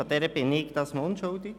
Daran bin ich diesmal unschuldig.